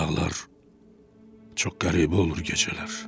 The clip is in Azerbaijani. Dağlar çox qəribə olur gecələr.